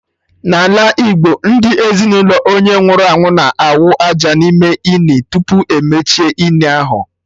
N'ala Igbo, ndị ezinụlọ onye nwụrụ anwụ na/awụ aja n'ime ini, tupu emechie ini ahụ